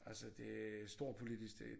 Altså det er storpolitisk det